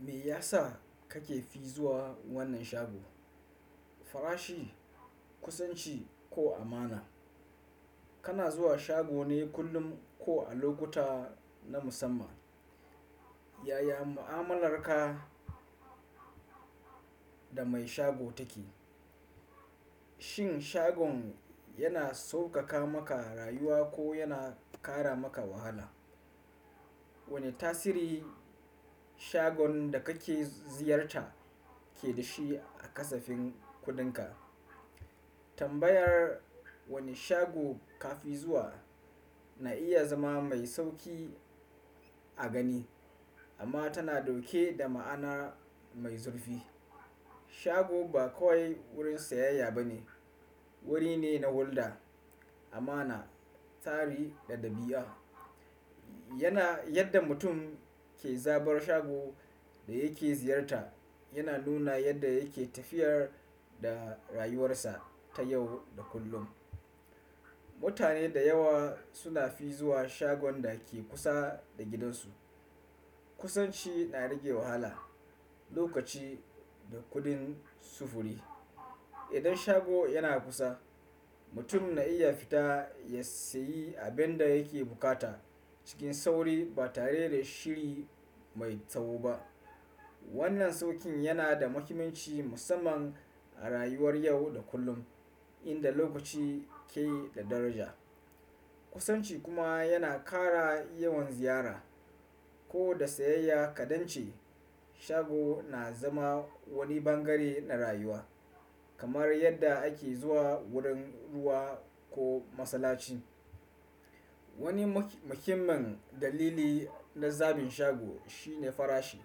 Me yasa kake fi zuwa wannan shago? Farashi, kusanci ko amana? Kana zuwa shago ne kullum ko a lokuta na musamman? Yaya mu'amalarka da mai shago take? Shin shagon yana sauƙaƙa maka rayuwa ko yana ƙara maka wahala? Wane tasiri shagon da kake ziyarta ke da shi a kasafin kuɗinka? Tambayar wane shago ka fi zuwa na iya zama mai sauki a gani amma tana ɗauke da ma'ana mai zurfi. Shago ba kawai wurin sayayya ba ne, wuri ne na hulɗa, amana, tsari da ɗabi'a. Yana yadda mutum ke zabar shagon da yake ziyarta yana nuna yadda yake tafiyar da rayuwarsa ta yau da kullum. Mutane da yawa suna fi zuwa shagon da ke kusa da gidansu. Kusanci na rage wahala, lokaci da kuɗin sufuri. Idan shago yana kusa, mutum na iya fita ya sayi abin da yake bukata cikin sauri ba tare da shiri mai tsawo ba. Wannan sauƙin yana da muhimmanci musamman a rayuwar yau da kullum inda lokaci ke da daraja. Kusanci kuma yana ƙara yawan ziyara ko da sayayya kaɗan ce. Shago na zama wani bangare na rayuwa kamar yadda ake zuwa wurin ruwa ko masallaci. Wani muhimman dalili na zabin shago shine farashi.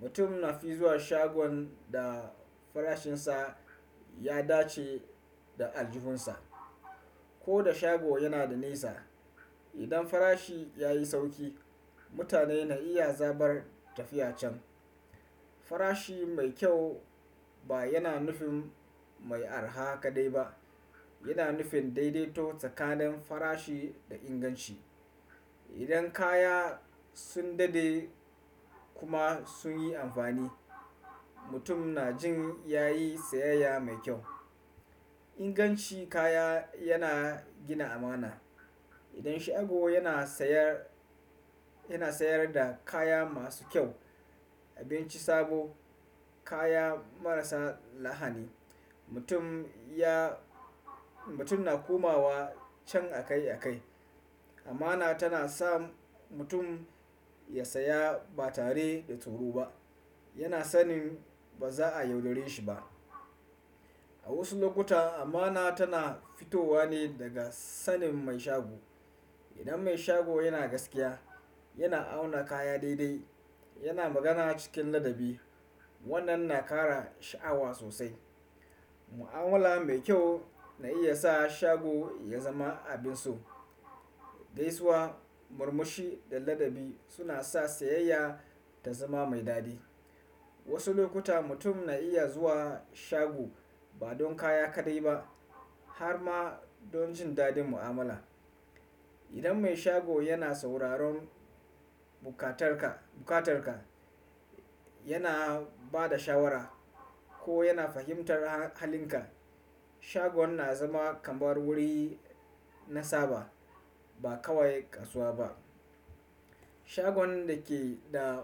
Mutum na fi zuwa shagon da farashinsa ya dace da aljuhunsa. Ko da shago yana da nisa, idan farashi ya yi sauƙi, mutane na iya zabar tafiya can. Farashi mai kyau ba yana nufin mai araha kaɗai ba, yana nufin daidaito tsakanin farashi da inganci. Idan kaya sun dade kuma sun yi amfani, mutum na jin ya yi sayayya mai kyau. Ingancin kaya yana gina amana. Idan shago yana sayar yana sayar da kaya masu kyau, abinci sabo, kaya marasa lahani, mutum ya mutum na komawa can akai akai. Amana tana sa mutum ya saya ba tare da tsoro ba. Yana sanin ba za a yaudare shi ba. A wasu lokuta amana tana fitowa ne daga sanin mai shago. Idan mai shago yana gaskiya, yana auna kaya daidai, yana magana cikin ladabi. Wannan na ƙara sha'awa sosai. Mu'amala mai kyau na iya sa shago ya zama abin so. Gaisuwa, murmushi da ladabi suna sa sayayya ta zama mai daɗi. Wasu lokuta mutum na iya zuwa shago ba don kaya kaɗai ba har ma don jin daɗin mu'amala. Idan mai shago yana sauraron bukatarka, bukatarka, yana ba da shawara ko yana fahimtar halinka, shagon na zama kamar wuri na saba ba kawai kasuwa ba. Shagon da ke da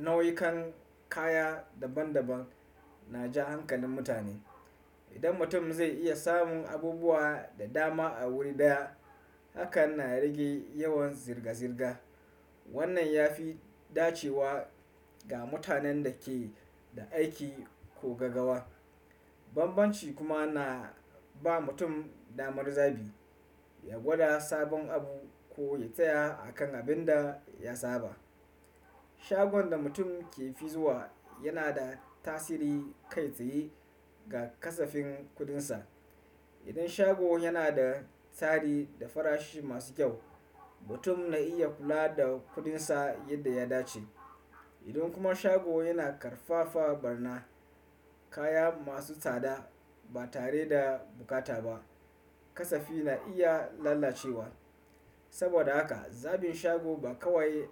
nau'ikan kaya daban daban na ja hankalin mutane. Idan mutum zai iya samun abubuwa da dama a wuri ɗaya, hakan na rage yawan zirga zirga. Wannan ya fi dacewa ga mutanen da ke da aiki ko gagawa. Banbanci kuma na ba mutum damar zabi, ya gwada sabon abu ko ya tsaya a kan abin da ya saba. Shagon da mutum ke fi zuwa yana da tasiri kai tsaye ga kasafin kudinsa. Idan shago yana da tsari da farashi masu kyau, mutum na iya kula da kudinsa yadda ya dace. Idan kuma shago yana ƙarfafa barna kaya masu tsada ba tare da bukata ba, kasafi na iya lalacewa. Saboda haka zabin shago ba kawai.